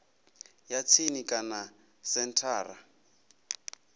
ya tsini kana kha senthara